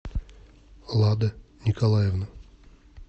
лада николаевна